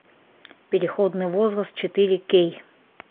переходный возраст четыре кей